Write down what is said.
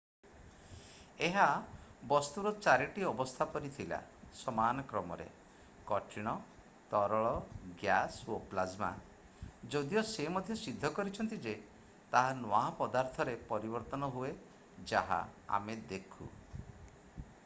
ଏହା ବସ୍ତୁର 4 ଟି ଅବସ୍ଥା ପରି ଥିଲା ସମାନ କ୍ରମରେ: କଠିନ ତରଳ ଗ୍ୟାସ୍ ଏବଂ ପ୍ଲାଜ୍ମା ଯଦିଓ ସେ ମଧ୍ୟ ସିଦ୍ଧ କରିଛନ୍ତି ଯେ ତାହା ନୂଆ ପଦାର୍ଥରେ ପରିବର୍ତ୍ତନ ହୁଏ ଯାହା ଆମେ ଦେଖୁ।